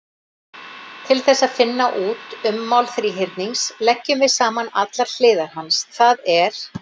Til þess að finna út ummál þríhyrnings leggjum við saman allar hliðar hans, það er: